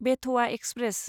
बेथ'आ express